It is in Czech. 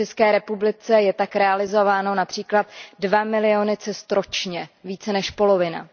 V České republice jsou tak realizovány například 2 miliony cest ročně, více než polovina.